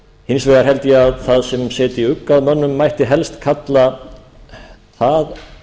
hins vegar held ég að það sem setji ugg að mönnum mætti helst kalla það